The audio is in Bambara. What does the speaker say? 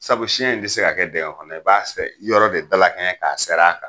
Sabu siyɛn in tɛ se ka kɛ diŋɛ kɔnɔ, i b'a fɛ yɔrɔ de dalakɛɲɛ k'a ser'a kan.